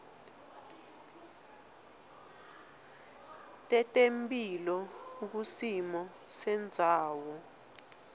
tetemphilo kusimo sendzawo